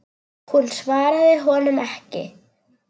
Hún svaraði honum ekki.